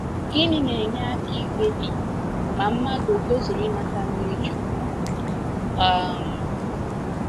Gịnị na-enye aka ikpebi ma mmadụ o tozuru inata mmiri chukwu? um